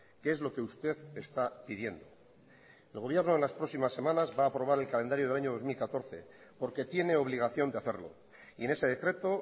que es lo que usted está pidiendo el gobierno en las próximas semanas va aprobar el calendario del año dos mil catorce porque tiene obligación de hacerlo y en ese decreto